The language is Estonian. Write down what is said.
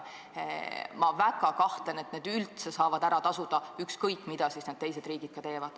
Ma väga kahtlen, et need riskid, mida me võtame, saavad ära tasuda, ükskõik, mida teised riigid teevad.